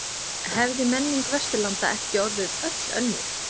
Hefði menning Vesturlanda ekki orðið öll önnur?